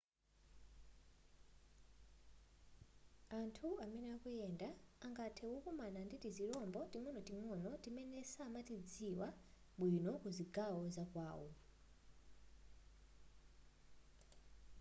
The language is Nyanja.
anthu amene akuyenda angathe kukomana ndi tizirombo ting'onoting'ono timene samatidziwa bwino ku zigawo zakwawo